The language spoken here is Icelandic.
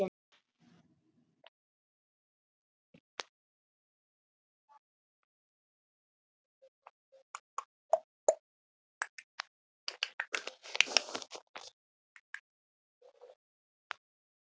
Hún er styrk þótt fingur hans haldi um beinin.